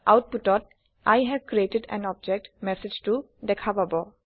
আওতপুটত I have created an object মেচেজটো দেখা পাব